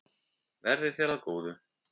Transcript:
Verði þér að góðu.